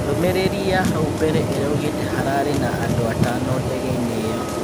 Ndũmĩ rĩ ri ya hau mbere ĩ raugĩ te hararĩ na andũ atano ndegeinĩ ĩ yo.